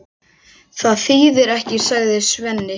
Það þýðir ekkert, sagði Svenni.